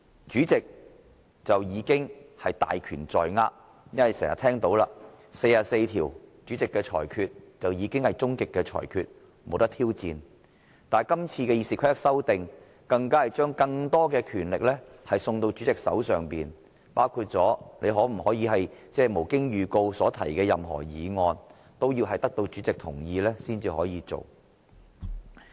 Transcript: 主席已經大權在握，正如《議事規則》第44條已訂明主席的裁決是最終的裁決，不容挑戰；但今次對《議事規則》的修訂更是將更多的權力送到主席的手上，包括議員是否可以無經預告提出議案，也必須得到主席同意才能提出。